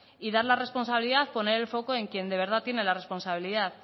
y dar la responsabilidad y poner el foco en quien de verdad tiene la responsabilidad